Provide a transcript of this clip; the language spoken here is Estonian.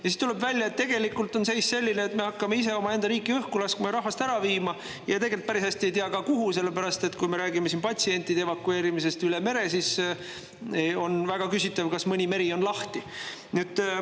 Ja siis tuleb välja, et tegelikult on seis selline, et me hakkame ise omaenda riiki õhku laskma ja rahvast ära viima ning tegelikult päris hästi ei teagi, kuhu, sest kui me räägime siin patsientide evakueerimisest üle mere, siis on väga küsitav, kas meri on siis veel lahti.